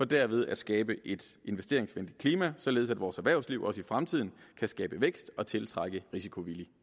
derved at skabe et investeringsvenligt klima således at vores erhvervsliv også i fremtiden kan skabe vækst og tiltrække risikovillig